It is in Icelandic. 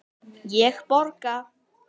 Ég borga!